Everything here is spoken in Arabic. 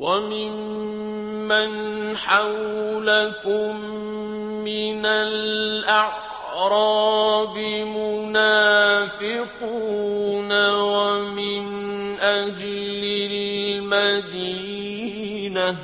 وَمِمَّنْ حَوْلَكُم مِّنَ الْأَعْرَابِ مُنَافِقُونَ ۖ وَمِنْ أَهْلِ الْمَدِينَةِ ۖ